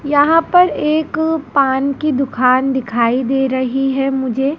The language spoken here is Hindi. यहां पर एक पान की दुखान दिखाई दे रही है मुझे।